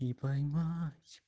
и поймать